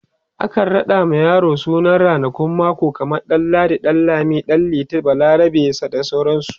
akan raɗa ma yaro sunan ranakun mako kaman ɗan ladi, ɗan lami, ɗan liti, balarabe, bda sauransu